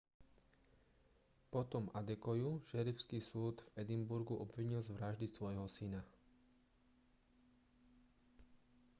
potom adekoyu šerifský súd v edinburgu obvinil z vraždy svojho syna